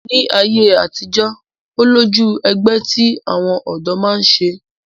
Ní ayé àtijọ́, ó lójú ẹgbẹ́ tí àwọn ọ̀dọ́ máa ń ṣe